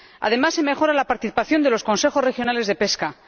Además, se mejora la participación de los consejos regionales de pesca.